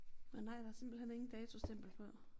Men nej der simpelthen ingen datostempel på